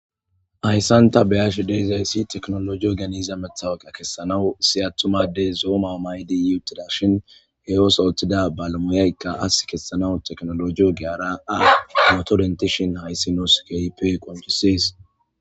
Hayssan ta beyashe dizayssi tekinolojey ehida matawoqa kesanaw issi attuma addey zo'o may'o may'idi uuttidashin he ooththo oththida bale moyayikka aasi kessanas tekinoloje giyara hayssi nuus keehippe qonccises